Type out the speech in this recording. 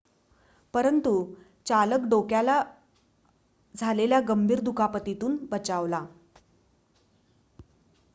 परंतु चालक डोक्याला झालेल्या गंभीर दुखापतीतून बचावला